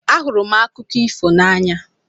Ahụrụ m akụkọ ifo n'anya